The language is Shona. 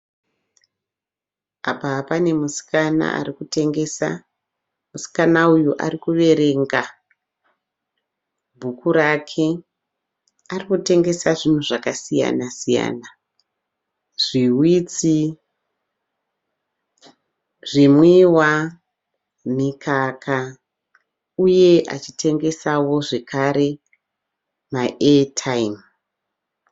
Apa panemusikana ari kutengesa. Musikana uyu ari kuverenga bhuku rake. Ari kutengesa zvinhu zvakasiyana-siyana, zviwitsi, zvimwiwa ,mikaka uye achitengesawo zvakare maetaimu.